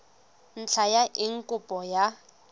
ntlha ya eng kopo ya